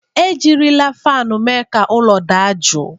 Ejirila fanụ mee ka ụlọ adị jụụ.